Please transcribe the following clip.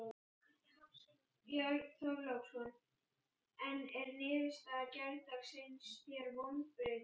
Björn Þorláksson: En er niðurstaða gærdagsins þér vonbrigði?